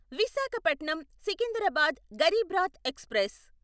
Visakhapatnam Secunderabad Garib Rath express